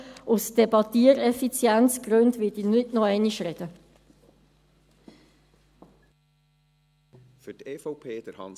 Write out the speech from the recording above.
Aus Gründen der Debatteneffizienz werde ich nicht nochmals sprechen.